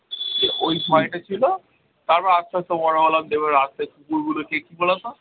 ওই ভয় টা ছিল তারপর আস্তে আস্তে বড়ো হলাম এবার রাস্তায় কুকুর গুলোকে কী বল তো